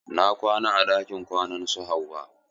Na kwana a ɗakin kwanan su Hauwa.